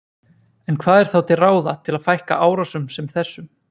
En hvað er þá til ráða til að fækka árásum sem þessum?